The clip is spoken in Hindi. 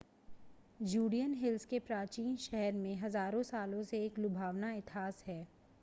जुडियन हिल्स के प्राचीन शहर में हज़ारों सालों से एक लुभावना इतिहास है